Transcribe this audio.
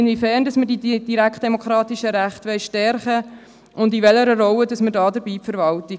Inwiefern wollen wir die direktdemokratischen Rechte stärken, und in welcher Rolle sehen wir dabei die Verwaltung?